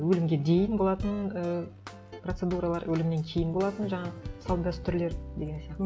өлімге дейін болатын і процедуралар өлімнен кейін болатын жаңағы салт дәстүрлер деген сияқты